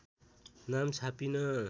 नाम छापिन